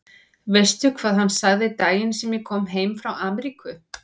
Veistu hvað hann sagði daginn sem ég kom heim frá Ameríku?